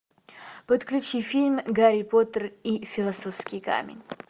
подключи фильм гарри поттер и философский камень